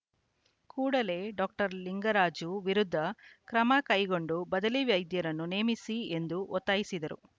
ಕೂಡಲೇ ಡಾಕ್ಟರ್ ಲಿಂಗರಾಜ ವಿರುದ್ಧ ಕ್ರಮ ಕೈಗೊಂಡು ಬದಲಿ ವೈದ್ಯರನ್ನು ನೇಮಿಸಿ ಎಂದು ಒತ್ತಾಯಿಸಿದರು